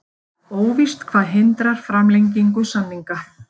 Óvíst hvað hindrar framlengingu samninga